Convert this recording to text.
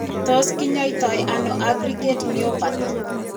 Tos kinyaita ano aggregate myopathy ?